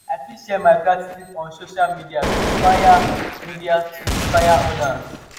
i fit share my gratitude on social media to inspire media to inspire others.